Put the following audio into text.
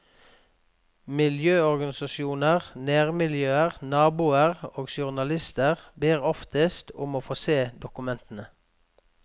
Miljøorganisasjoner, nærmiljøer, naboer og journalister ber oftest om å få se dokumentene.